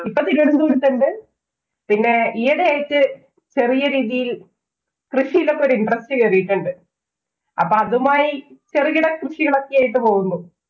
ഇപ്പം തിരുവനന്തപുരത്തുണ്ട്. പിന്നെ ഈയിടെയായിട്ട് ചെറിയ രീതിയില്‍ കൃഷിയിലൊക്കെ ഒരു interest കേറീട്ടുണ്ട്. അപ്പൊ അതുമായി ചെറുകിട കൃഷികളൊക്കെയായിട്ട് പോകുന്നു.